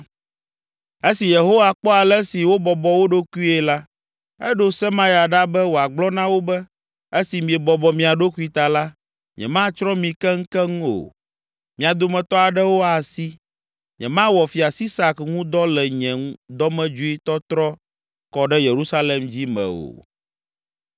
Esi Yehowa kpɔ ale si wobɔbɔ wo ɖokuie la, eɖo Semaya ɖa be wòagblɔ na wo be, “Esi miebɔbɔ mia ɖokui ta la, nyematsrɔ̃ mi keŋkeŋ o, mia dometɔ aɖewo asi. Nyemawɔ Fia Sisak ŋu dɔ le nye dɔmedzoetɔtrɔ kɔ ɖe Yerusalem dzi me o.